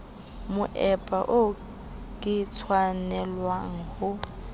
moepa oo ke tshwanelwang ho